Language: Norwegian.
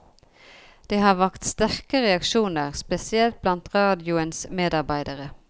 Det har vakt sterke reaksjoner, spesielt blant radioens medarbeidere.